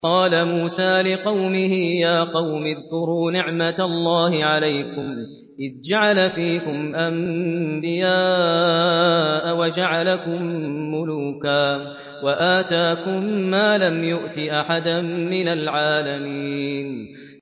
وَإِذْ قَالَ مُوسَىٰ لِقَوْمِهِ يَا قَوْمِ اذْكُرُوا نِعْمَةَ اللَّهِ عَلَيْكُمْ إِذْ جَعَلَ فِيكُمْ أَنبِيَاءَ وَجَعَلَكُم مُّلُوكًا وَآتَاكُم مَّا لَمْ يُؤْتِ أَحَدًا مِّنَ الْعَالَمِينَ